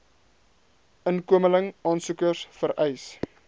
inkomeling aansoekers vereis